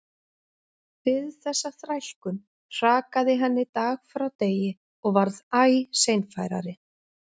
Við þessa þrælkun hrakaði henni dag frá degi og varð æ seinfærari.